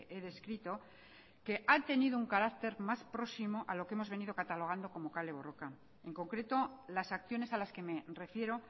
he descrito que ha tenido un carácter más próximo a lo que hemos venido catalogando como kale borroka en concreto las acciones a las que me refiero